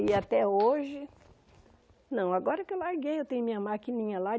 E até hoje... Não, agora que eu larguei, eu tenho minha maquininha lá.